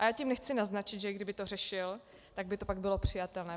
Ale tím nechci naznačit, že i kdyby to řešil, tak by to pak bylo přijatelné.